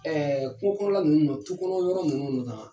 kungo kɔnɔla nunnu na; tu kɔnɔ yɔrɔ nunnu naa